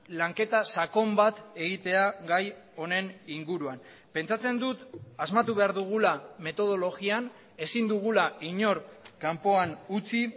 lanketa sakon bat egitea gai honen inguruan pentsatzen dut asmatu behar dugula metodologian ezin dugula inor kanpoan utzi